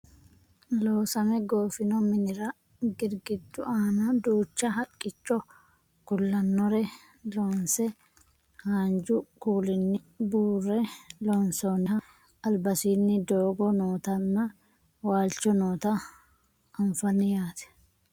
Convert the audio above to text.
loosame goofino minira girgiddu aana duucha haqqicho kulannore loonse haanju kuulinni buurre loonsoonniha albasiinni doogo nootanna waalchu noota anfanni yaate